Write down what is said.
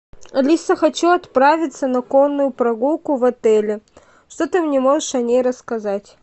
алиса хочу отправиться на конную прогулку в отеле что ты мне можешь о ней рассказать